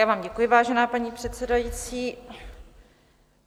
Já vám děkuji, vážená paní předsedající.